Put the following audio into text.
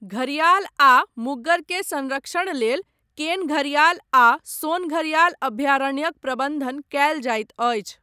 घरियाल आ मुग्गर के संरक्षण लेल केन घरियाल आ सोन घरियाल अभयारण्यक प्रबन्धन कयल जाइत अछि।